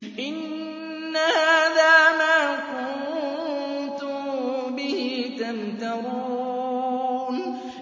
إِنَّ هَٰذَا مَا كُنتُم بِهِ تَمْتَرُونَ